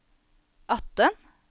atten